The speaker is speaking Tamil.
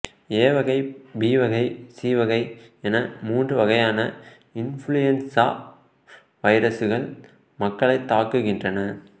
ஏ வகை பி வகை சி வகை என மூன்று வகையான இன்ஃபுளுவென்சா வைரசுகள் மக்களைத் தாக்குகின்றன